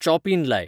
चॉपीन लाय